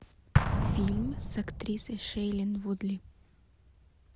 фильм с актрисой шейлин вудли